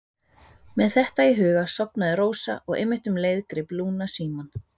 Með þetta í huga sofnaði Rósa og einmitt um leið greip Lúna símann